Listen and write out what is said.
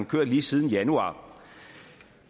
kørt lige siden januar